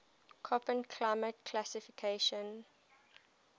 koppen climate classification